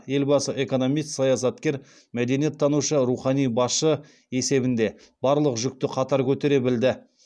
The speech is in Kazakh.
елбасы экономист саясаткер мәдениеттанушы рухани басшы есебінде барлық жүкті қатар көтере білді